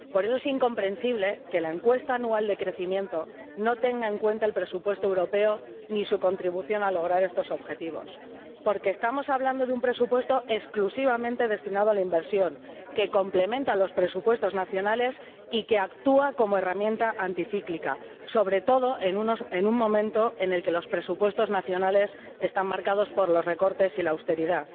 Por eso es incomprensible que la encuesta anual de crecimiento no tenga en cuenta el presupuesto europeo ni su contribución al logro de estos objetivos, porque estamos hablando de un presupuesto exclusivamente destinado a la inversión, que complementa los presupuestos nacionales y que actúa como herramienta anticíclica, sobre todo en un momento en el que los presupuestos nacionales están marcados por los recortes y la austeridad.